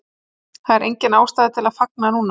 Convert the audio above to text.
Það er engin ástæða til að fagna núna.